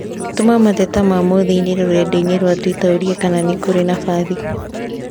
Tũma mateta ma mũthii inī rũrenda-inī rwa tũita ũũrie kana nĩ kũrĩ na mbathi